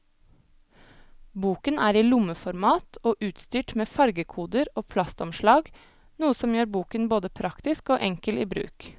Boken er i lommeformat og utstyrt med fargekoder og plastomslag, noe som gjør boken både praktisk og enkel i bruk.